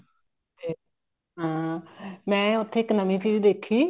ਤੇ ਹਾਂ ਮੈਂ ਉੱਥੇ ਇੱਕ ਨਵੀਂ ਚੀਜ਼ ਦੇਖੀ